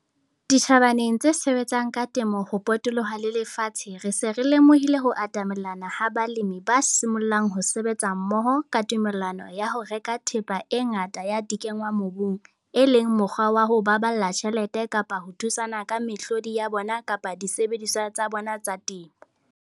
Ditjhabaneng tse sebetsang ka temo ho potoloha le lafatshe re se re lemohile ho atamelana ha balemi ba simollang ho sebetsa mmoho ka tumellano ho reka thepa e ngata ya dikenngwamobung, e leng mokgwa wa ho baballa tjhelete kapa ka ho thusana ka mehlodi ya bona kapa disebediswa tsa bona tsa temo.